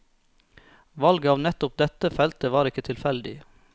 Valget av nettopp dette feltet var ikke tilfeldig.